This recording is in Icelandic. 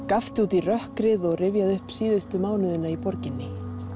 gapti út í rökkrið og rifjaði upp síðustu mánuðina í borginni